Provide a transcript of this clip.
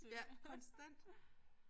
Ja konstant